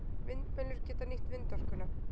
Vindmyllur geta nýtt vindorkuna.